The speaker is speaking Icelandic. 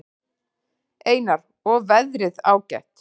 Einar: Og veðrið ágætt?